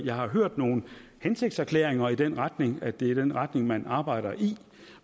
jeg har hørt nogle hensigtserklæringer i den retning altså at det er i den retning man arbejder